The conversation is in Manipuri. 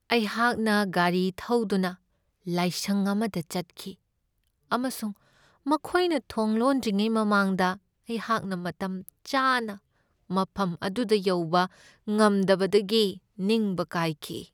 ꯑꯩꯍꯥꯛꯅ ꯒꯥꯔꯤ ꯊꯧꯗꯨꯅ ꯂꯥꯏꯁꯪ ꯑꯃꯗ ꯆꯠꯈꯤ ꯑꯃꯁꯨꯡ ꯃꯈꯣꯏꯅ ꯊꯣꯡ ꯂꯣꯟꯗ꯭ꯔꯤꯉꯩ ꯃꯃꯥꯡꯗ ꯑꯩꯍꯥꯛꯅ ꯃꯇꯝꯆꯥꯅ ꯃꯐꯝ ꯑꯗꯨꯗ ꯌꯧꯕ ꯉꯝꯗꯕꯗꯒꯤ ꯅꯤꯡꯕ ꯀꯥꯏꯈꯤ ꯫